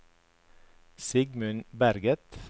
Sigmund Berget